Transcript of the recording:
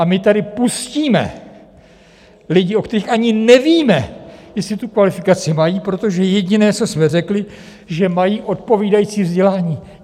A my tady pustíme lidi, o kterých ani nevíme, jestli tu kvalifikaci mají, protože jediné, co jsme řekli, že mají odpovídající vzdělání.